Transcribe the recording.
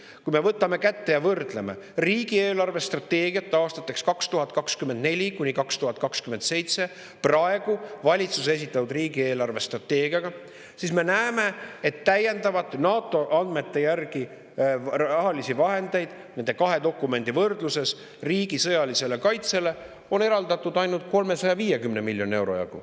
Kui me võtame kätte ja võrdleme riigi eelarvestrateegiat aastateks 2024–2027 praeguse valitsuse esitatud riigi eelarvestrateegiaga, siis me näeme, et NATO andmete järgi on rahalisi vahendeid nende kahe dokumendi võrdluses riigi sõjalisele kaitsele täiendavalt eraldatud ainult 350 miljoni euro jagu.